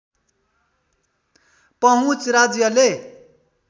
पहुँच राज्यले